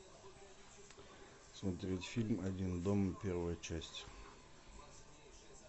смотреть фильм один дома первая часть